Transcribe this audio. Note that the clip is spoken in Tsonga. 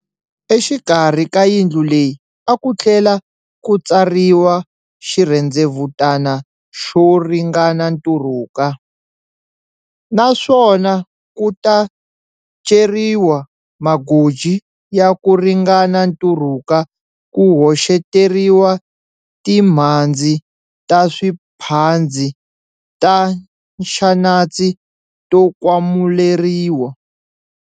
Exikarhi ka yindlu leyi a ku tlhela ku tsariwa xirhendzevutana xo ringana nturuka, na swona ku ta ceriwa magoji ya ku ringana nturuka ku hoxeteriwa timhandzi ta swiphandzi ta nxanatsi to kwamuleriwa.